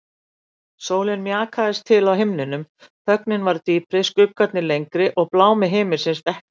Sólin mjakaðist til á himninum, þögnin varð dýpri, skuggarnir lengri og blámi himinsins dekkri.